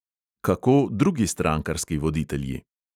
Kako drugi strankarski voditelji?